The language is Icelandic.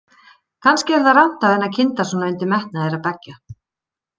Kannski er það rangt af henni að kynda svona undir metnað þeirra beggja.